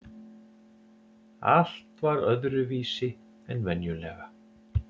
Allt var öðruvísi en venjulega.